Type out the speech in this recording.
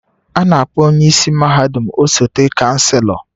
A na-akpọ onye isi mahadum osote Chancellor